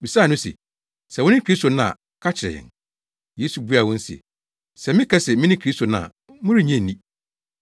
bisaa no se, “Sɛ wone Kristo no a ka kyerɛ yɛn.” Yesu buaa wɔn se, “Sɛ meka se mene Kristo no a, morennye nni,